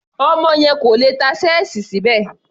Ọmọ yẹn kò lè tá ṣẹ́ẹ̀sì síbẹ̀.